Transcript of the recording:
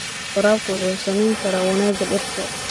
Waraabku wuxuu saameyn karaa wanaagga dhirta.